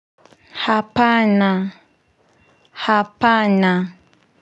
Hapana hapana.